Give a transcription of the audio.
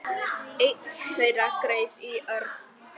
Einn þeirra greip í Örn.